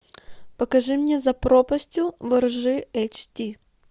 покажи мне за пропастью во ржи эйч ди